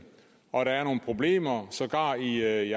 og om at der er nogle problemer sågar i